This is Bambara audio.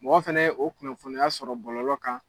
Mɔgɔ fɛnɛ ye o kunnafoniya sɔrɔ bɔlɔ kan